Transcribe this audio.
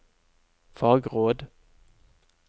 fagråd